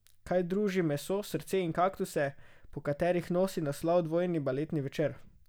Kaj druži meso, srce in kaktuse, po katerih nosi naslov dvojni baletni večer?